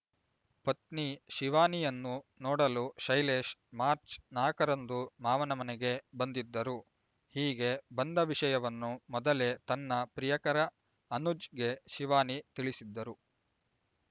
ಪತ್ನಿ ಶಿವಾನಿಯನ್ನು ನೋಡಲು ಶೈಲೇಶ್ ಮಾರ್ಚ್ ನಾಕರಂದು ಮಾವನ ಮನೆಗೆ ಬಂದಿದ್ದರು ಹೀಗೆ ಬಂದ ವಿಷಯವನ್ನು ಮೊದಲೇ ತನ್ನ ಪ್ರಿಯಕರ ಅನುಜ್‌ಗೆ ಶಿವಾನಿ ತಿಳಿಸಿದ್ದರು